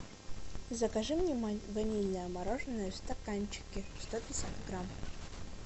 закажи мне ванильное мороженое в стаканчике сто пятьдесят грамм